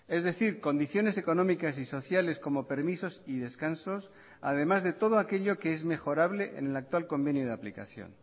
es decir condiciones económicas y sociales como permisos y descansos además de todo aquello que es mejorable en el actual convenio de aplicación